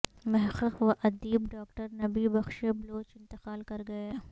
محقق و ادیب ڈاکٹر نبی بخش بلوچ انتقال کرگئے